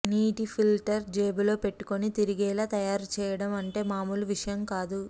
నీటి ఫిల్టర్ జేబులో పెట్టుకుని తిరిగేలా తయారు చేయడం అంటే మామూలు విషయం కాదు